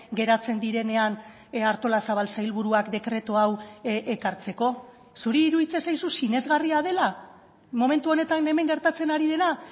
geratzen direnean artolazabal sailburuak dekretu hau ekartzeko zuri iruditzen zaizu sinesgarria dela momentu honetan hemen gertatzen ari dena